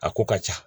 A ko ka ca